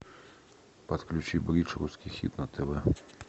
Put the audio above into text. подключи бридж русский хит на тв